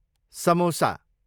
samosa